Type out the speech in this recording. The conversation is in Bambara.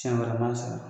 Siɲɛ wɛrɛ ma sɛgɛn